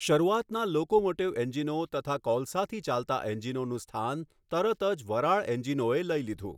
શરૂઆતના લોકોમોટીવ એન્જિનો તથા કોલસાથી ચાલતા એન્જિનોનું સ્થાન તરત જ વરાળ એન્જિનોએ લઈ લીધું.